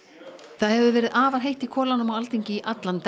það hefur verið afar heitt í kolunum á Alþingi í allan dag